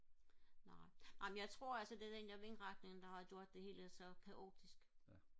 nej amen jeg tror altså at det er den der vindretning der har gjort det hele så kaotisk